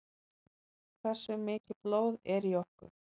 Hversu mikið blóð er í okkur?